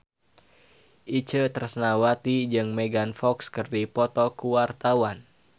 Itje Tresnawati jeung Megan Fox keur dipoto ku wartawan